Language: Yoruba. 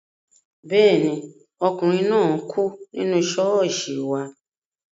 Bẹ́ẹ̀ ni, ọkùnrin náà kú nínú ṣọ́ọ̀ṣì wa